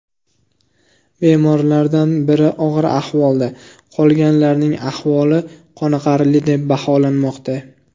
Bemorlardan biri og‘ir ahvolda, qolganlarning ahvoli qoniqarli deb baholanmoqda.